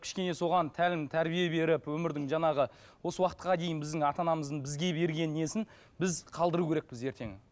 кішкене соған тәлім тәрбие беріп өмірдің жаңағы осы уақытқа дейін біздің ата анамыздың бізге берген несін біз қалдыру керекпіз ертең